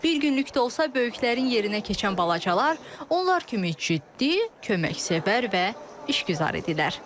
Bir günlük də olsa böyüklərin yerinə keçən balacalar, onlar kimi ciddi, köməksevər və işgüzardılar.